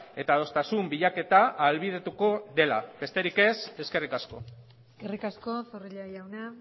eta adostasun bilaketa ahalbidetuko dela besterik ez eskerrik asko eskerrik asko zorrilla jauna